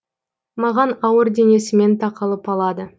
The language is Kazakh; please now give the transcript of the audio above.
маған ауыр денесімен тақалып алады